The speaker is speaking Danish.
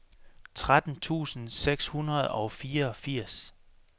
tretten tusind seks hundrede og fireogfirs